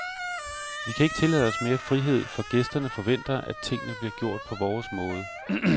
Vi kan ikke tillade os mere frihed, for gæsterne forventer, at tingene bliver gjort på vores måde.